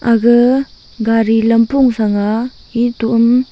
aga gari lampong thrang a etoham--